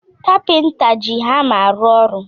Kapinta ji hama arụ ọrụ